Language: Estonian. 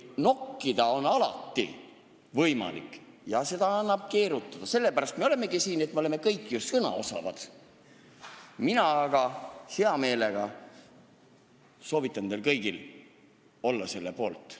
Nokkida on alati võimalik ja seda teemat annab keerutada – sellepärast me olemegi siin, et me kõik oleme sõnaosavad –, aga mina soovitan teil kõigil olla selle eelnõu poolt.